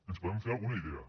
ens en podem fer alguna idea